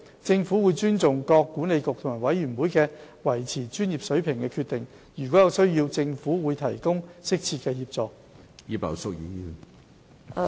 政府尊重各管理局及委員會維持專業水平的決定。如有需要，政府會提供適切的協助。